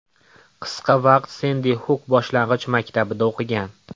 Qisqa vaqt Sendi Xuk boshlang‘ich maktabida o‘qigan.